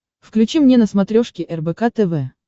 включи мне на смотрешке рбк тв